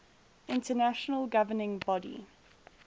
international governing body